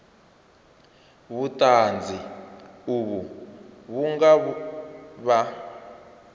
vhuṱanzi uvho vhu nga vha